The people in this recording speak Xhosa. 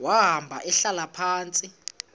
wahamba ehlala phantsi